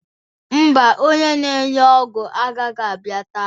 Ḿbà, Onye na-ere ọgwụ agaghị abịa taa.